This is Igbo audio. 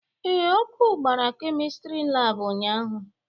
Ee, ọkụ gbara Kemistri laabụ ụnyaahụ.